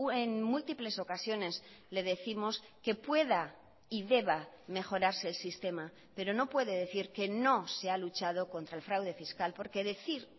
en múltiples ocasiones le décimos que pueda y deba mejorarse el sistema pero no puede decir que no se ha luchado contra el fraude fiscal porque decir